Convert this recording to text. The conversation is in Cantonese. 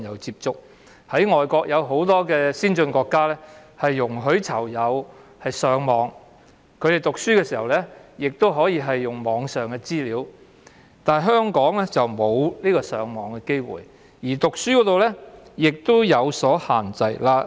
海外很多先進國家都容許囚友上網，他們讀書亦可以利用網上資源，但香港的囚友則沒有上網機會，所讀的書刊亦有所限制。